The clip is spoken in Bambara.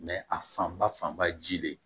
a fanba fanba ye ji le ye